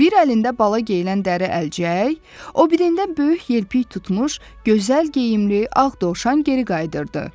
bir əlində bala geyilən dəri əlcək, o birində böyük yelpiy tutmuş, gözəl geyimli ağ dovşan geri qayıdırdı.